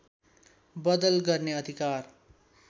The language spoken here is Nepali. बदल गर्ने अधिकार